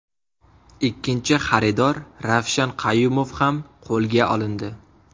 Ikkinchi xaridor Ravshan Qayumov ham qo‘lga olindi.